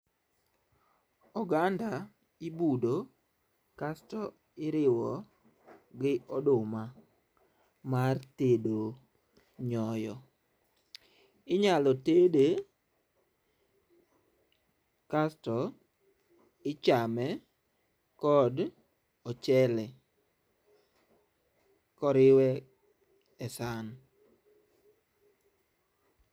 Oganda ibudo kasto iriwo gi oduma mar tedo nyoyo. Inyalo tede kasto ichame kod ochele koriwe e san.